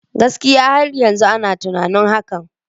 Gaskiya! Har yanzu ina tunanin hakan.